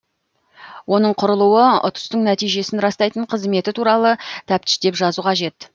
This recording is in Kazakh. оның құрылуы ұтыстың нәтижесін растайтын қызметі туралы тәптіштеп жазу қажет